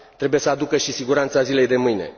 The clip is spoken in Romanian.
Trebuie să aducă și siguranța zilei de mâine.